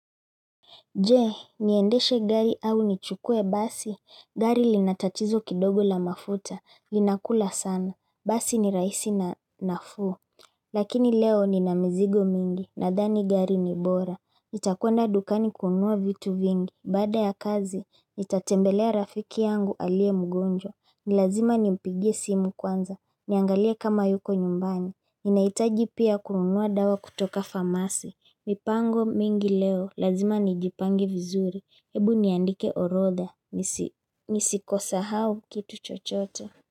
Je, niendeshe gari au nichukue basi, gari linatatizo kidogo la mafuta, linakula sana, basi ni rahisi na nafuu. Lakini leo ni na mizigo mingi, nadhani gari ni bora. Nitakwenda dukani kunua vitu vingi, baada ya kazi, nitatembelea rafiki yangu aliye mgonjwa. Nilazima ni mpigie simu kwanza, niangalie kama yuko nyumbani. Ninaitaji pia kunua dawa kutoka famasi. Mipango mingi leo, lazima nijipange vizuri Hebu niandike orodha, nisikosahau kitu chochote.